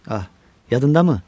Ah, yadındamı?